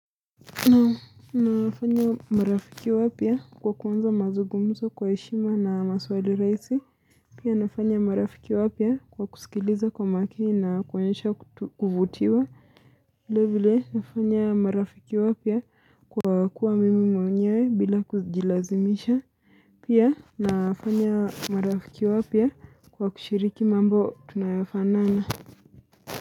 Na nafanya marafiki wapya kwa kuanza mazungumzo kwa heshima na maswali raisi Pia nafanya marafiki wapya kwa kusikiliza kwa makini na kuonyeasha kutuvutiwa vilevile nafanya marafiki wapya kwa kuwa mimi mwenyewe bila kujilazimisha Pia nafanya marafiki wapya kwa kushiriki mambo tunayofanana.